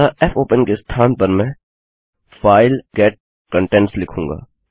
अतःfopen के स्थान पर मैं file get contents लिखूँगा